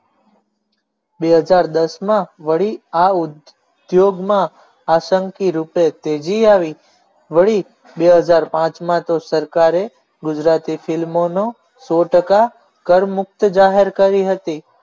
બે હજાર દસ માં વળી આ ઉદ્યોગમાં આશકી રૂપે તેજી આવી વળી બે હજાર પાંચ માં તો સરકારે ગુજરાતી ફિલ્મોનો એક સો ટકા કરમુક્ત જાહેર કરી હતી